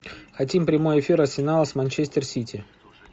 хотим прямой эфир арсенала с манчестер сити